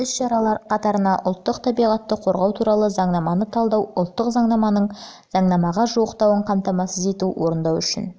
бұл іс-шаралар қатарына ұлттық табиғатты қорғау туралы заңнаманы талдау ұлттық заңнаманың заңнамаға жуықтауын қамтамасыз ету орындау үшін